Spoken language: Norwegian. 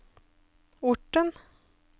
Orten